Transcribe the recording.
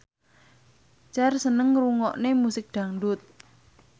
Cher seneng ngrungokne musik dangdut